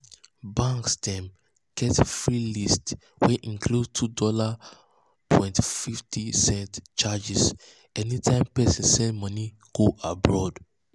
banks dem get fee list wey include $2.50 charge anytime person send money go abroad.